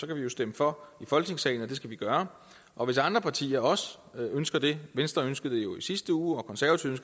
kan vi jo stemme for i folketingssalen og det skal vi gøre og hvis andre partier også ønsker det venstre ønskede det jo i sidste uge og konservative